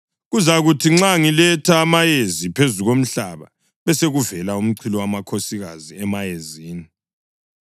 Kuzakuthi nxa ngiletha amayezi phezu komhlaba besekuvela umchilowamakhosikazi emayezini,